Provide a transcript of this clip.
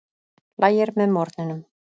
Lægir með morgninum